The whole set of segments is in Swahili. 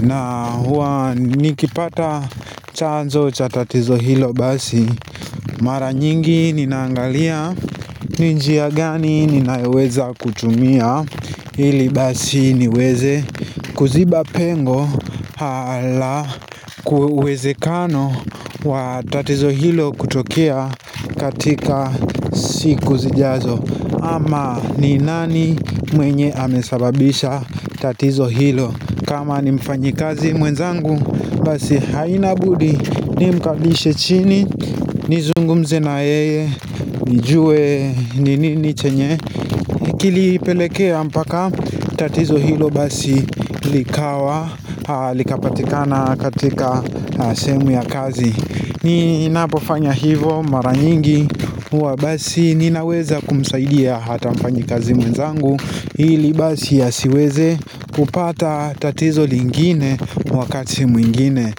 na huwa nikipata chanzo cha tatizo hilo basi Mara nyingi ninangalia ni njia gani ninayoweza kutumia Hili basi niweze kuziba pengo hala kuweze kano wa tatizo hilo kutokia katika siku zijazo ama ni nani mwenye amesababisha tatizo hilo kama ni mfanyi kazi mwenzangu basi haina budi ni mkalishe chini ni zungumze na yeye, nijue, ni ni chenye kili pelekea mpaka tatizo hilo basi likawa, likapatikana katika sehemu ya kazi ni napofanya hivyo maranyingi huwa basi ninaweza kumsaidia hata mfanyi kazi mwenzangu Ili basi ya siweze kupata tatizo lingine wakati mwingine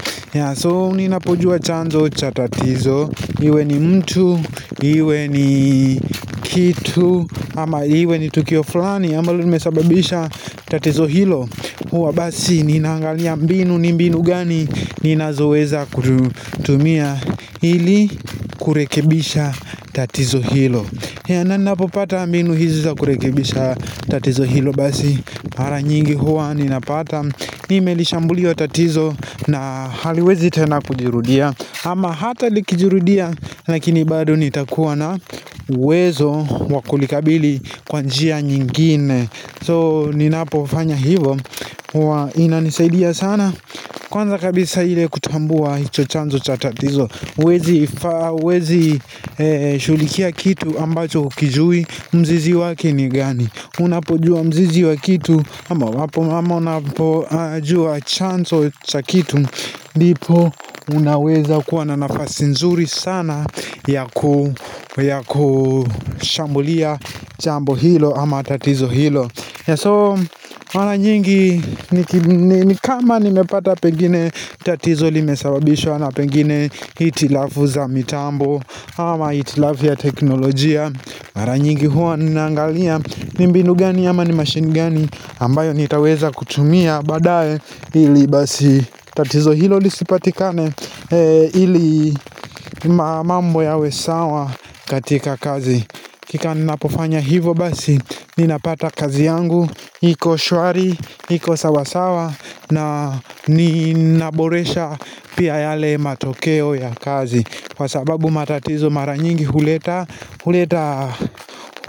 So ninapojua chanzo cha tatizo Iwe ni mtu, iwe ni kitu ama iwe ni tukio fulani ambalo nimesababisha tatizo hilo huwa basi ninaangalia mbinu, ni mbinu gani Ninazoweza kutumia Ili kurekebisha tatizo hilo ya nani napopata mbnu hizi za kurekebisha tatizo hilo basi mara nyingi huwa ninapata Nime lishambulia tatizo na haliwezi tena kujirudia ama hata likijirudia lakini bado nitakuwa na uwezo wakulikabili kwa njia nyingine So ninapo fanya hivyo inanisaidia sana Kwanza kabisa hile kutambua hicho chanzo cha tatizo huwezi shughulikia kitu ambacho hukijui mzizi wake ni gani Unapojua mzizi wa kitu ama unapojua chanzo cha kitu Ndipo unaweza kuwa na nafasi nzuri sana yakushambulia jambo hilo ama tatizo hilo ya so mara nyingi ni kama nimepata pengine tatizo limesawabishwa na pengine hitilafu za mitambo ama hitilafu ya teknolojia mara nyingi huwa ninaangalia ni mbinu gani ama ni machine gani ambayo nitaweza kutumia baadae ili basi tatizo hilo lisipatikane ili mambo yawesawa katika kazi Hakika ninapofanya hivyo basi ninapata kazi yangu hiko shwari iko sawasawa na ninaboresha pia yale matokeo ya kazi Kwa sababu matatizo mara nyingi huleta huleta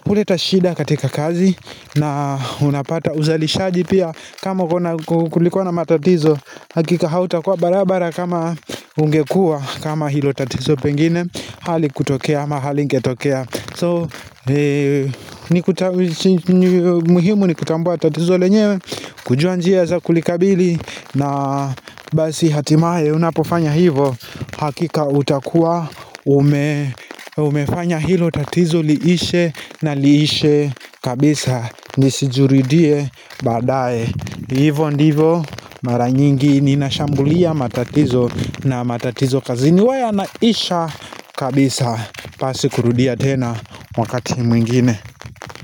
huleta shida katika kazi na unapata uzalishaji pia kama kulikowa matatizo Hakika hauta kwa barabara kama ungekua kama hilo tatizo pengine hali kutokea ama halingetokea So muhimu ni kutambua tatizo lenyewe kujua njia za kulikabili na basi hatimaye unapofanya hivyo Hakika utakua umefanya hilo tatizo liishe na liishe kabisa nisijuridie baadae Hivyo ndivyo maranyingi ninashambulia matatizo na matatizo kazini huwa yanaisha kabisa pasi kurudia tena wakati mwingine.